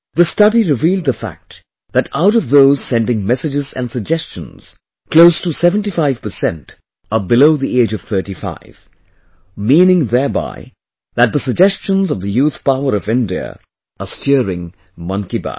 The study revealed the fact that out of those sending messages and suggestions, close to 75% are below the age of 35...meaning thereby that the suggestions of the youth power of India are steering Mann ki Baat